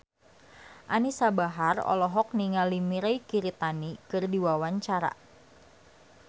Anisa Bahar olohok ningali Mirei Kiritani keur diwawancara